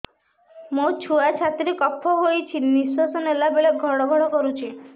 ମୋ ଛୁଆ ଛାତି ରେ କଫ ହୋଇଛି ନିଶ୍ୱାସ ନେଲା ବେଳେ ଘଡ ଘଡ କରୁଛି